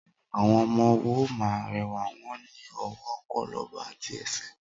Awọn ọmọ wó mà ń rẹwa, won ni ,ọwó kólòbò àtí ẹsẹ